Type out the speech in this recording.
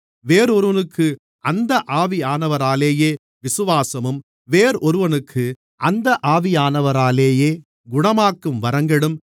வேறொருவனுக்கு அந்த ஆவியானவராலேயே விசுவாசமும் வேறொருவனுக்கு அந்த ஆவியானவராலேயே குணமாக்கும் வரங்களும்